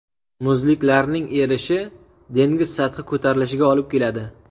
Muzliklarning erishi dengiz sathi ko‘tarilishiga olib keladi.